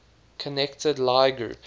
connected lie group